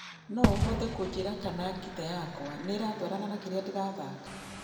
no ũhote kũnjĩra kana ngita yakwa nĩiratwarana na kĩria ndĩrathaka